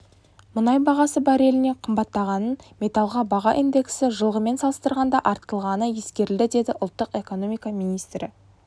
мұнай бағасы барреліне қымбаттағанын металлға баға индексі жылғымен салыстырғанда артылғаны ескерілді деді ұлттық экономика министрі